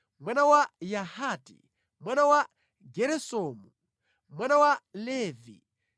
mwana wa Yahati, mwana wa Geresomu, mwana wa Levi;